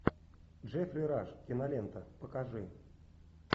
джеффри раш кинолента покажи